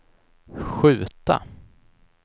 skjuta